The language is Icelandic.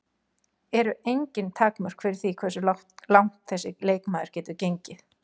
Eru engin takmörk fyrir því hversu langt þessi leikmaður getur gengið?